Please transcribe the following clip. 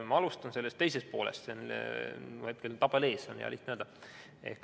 Ma alustan sellest teisest poolest, mul on hetkel tabel ees, hea lihtne on öelda.